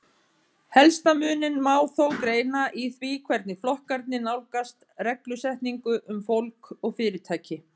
Helsta muninn má þó greina í því hvernig flokkarnir nálgast reglusetningu um fólk og fyrirtæki.